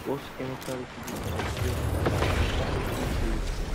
wash chemical residue from sprayer no damage damage nozzle o